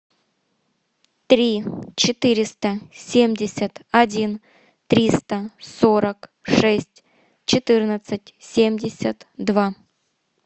три четыреста семьдесят один триста сорок шесть четырнадцать семьдесят два